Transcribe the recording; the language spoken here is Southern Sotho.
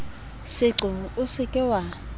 seqo o se ke wa